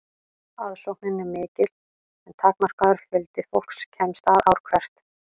aðsóknin er mikil en takmarkaður fjöldi fólks kemst að ár hvert